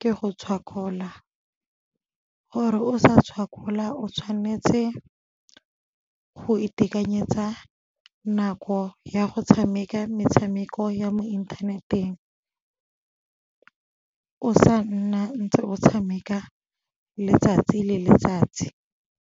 ke go tshwakgola. Gore o sa tshwakgola o tshwanetse go itekanyetsa nako ya go tshameka metshameko ya mo inthaneteng, o sa nna ntse o tshameka letsatsi le letsatsi.